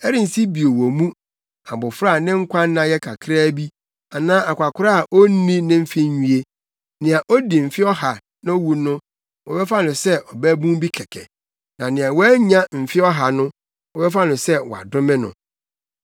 “Ɛrensi bio wɔ mu abofra a ne nkwanna yɛ kakraa bi, anaa akwakoraa a onni ne mfe nwie; nea odi mfe ɔha na owu no wɔbɛfa no sɛ ɔbabun bi kɛkɛ; na nea wannya mfe ɔha no wɔbɛfa no sɛ wɔadome no.